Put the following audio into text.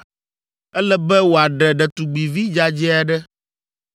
Ele be wòaɖe ɖetugbivi dzadzɛ aɖe.